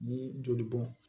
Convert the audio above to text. Ni joli bɔn